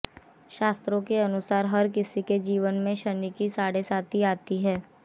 शास्त्रों के अनुसार हर किसी के जीवन में शनि की साढ़ेसाती आती ही है